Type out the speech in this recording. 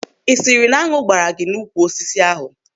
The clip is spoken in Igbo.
Ị sịrị na añụ gbaara gị n'úkwù osisi ahụ?